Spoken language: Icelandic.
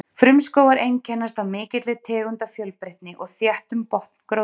Frumskógar einkennast af mikilli tegundafjölbreytni og þéttum botngróðri.